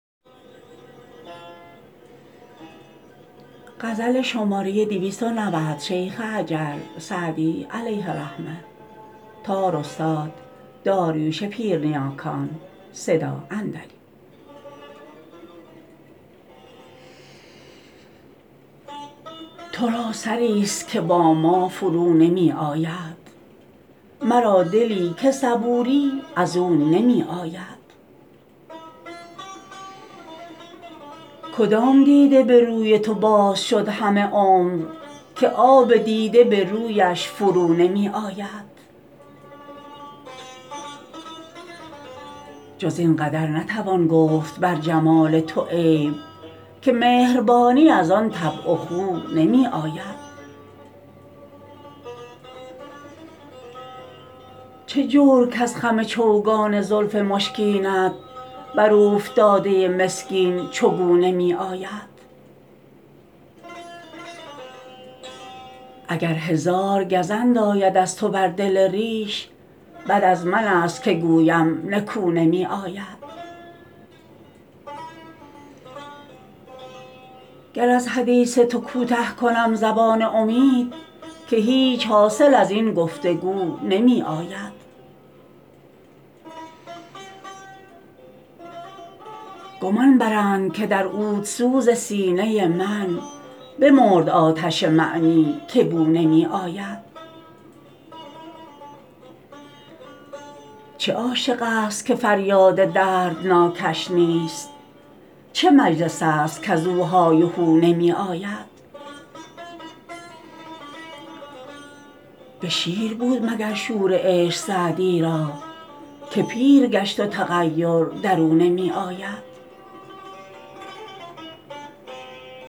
تو را سری ست که با ما فرو نمی آید مرا دلی که صبوری از او نمی آید کدام دیده به روی تو باز شد همه عمر که آب دیده به رویش فرو نمی آید جز این قدر نتوان گفت بر جمال تو عیب که مهربانی از آن طبع و خو نمی آید چه جور کز خم چوگان زلف مشکینت بر اوفتاده مسکین چو گو نمی آید اگر هزار گزند آید از تو بر دل ریش بد از من ست که گویم نکو نمی آید گر از حدیث تو کوته کنم زبان امید که هیچ حاصل از این گفت وگو نمی آید گمان برند که در عودسوز سینه من بمرد آتش معنی که بو نمی آید چه عاشق ست که فریاد دردناکش نیست چه مجلس ست کز او های و هو نمی آید به شیر بود مگر شور عشق سعدی را که پیر گشت و تغیر در او نمی آید